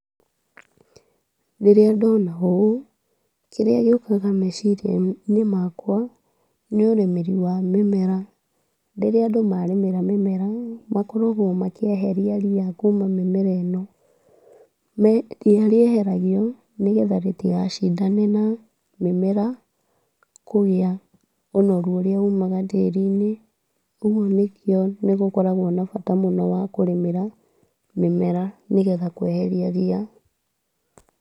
Rĩrĩa ndona ũũ, kĩrĩa gĩũkaga meciria-inĩ makwa, nĩ ũrĩmĩri wa mĩmera, rĩrĩa andũ marĩmĩra mĩmera, makoragwo makĩeheria ria kuma mĩmera ĩno, me ria rieheragio nĩgetha rĩtiga cindane na mĩmera kũrĩa ũnoru ũrĩa ũmaga tĩri-inĩ, ũguo nĩkĩo nĩgũkoragwo na bata mũno wa kũrĩmĩra mĩmera, nĩgetha kweheria ria.